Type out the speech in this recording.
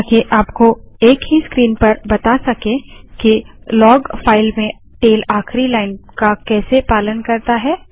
ताकि आपको एक ही स्क्रीन पर बता सकें कि लाग फाइल में टैल आखिरी लाइन का कैसे पालन करता है